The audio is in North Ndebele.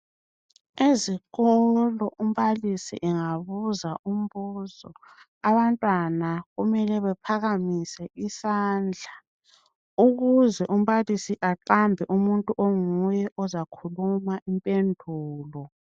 Ezikolo umbalisi engabuza umbuzo abantwana kumele bephakamise isandla ukuze umbalisi aqambe umuntu onguye ozakhuluma impendulo.